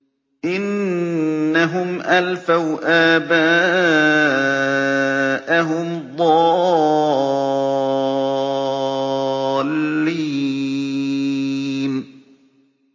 إِنَّهُمْ أَلْفَوْا آبَاءَهُمْ ضَالِّينَ